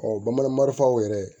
bamanan marifaw yɛrɛ